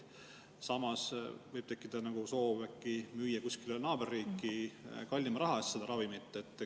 Neil võib tekkida soov müüa kuskile naaberriiki kallima raha eest seda ravimit.